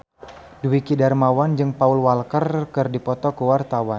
Dwiki Darmawan jeung Paul Walker keur dipoto ku wartawan